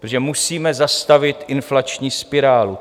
Protože musíme zastavit inflační spirálu.